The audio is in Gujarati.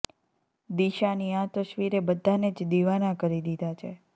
દિશાની આ તસવીરે બધાંને જ દિવાના કરી દીધા છે